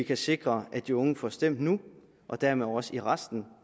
at sikre at de unge får stemt nu og dermed også i resten